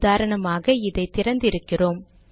உதாரணமாக இதை திறந்து இருக்கிறோம்